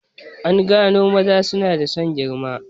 An gano maza suna da son girma